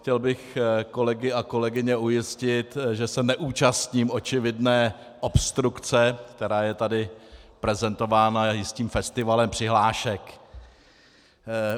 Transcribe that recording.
Chtěl bych kolegy a kolegyně ujistit, že se neúčastním očividné obstrukce, která je tady prezentována jistým festivalem přihlášek.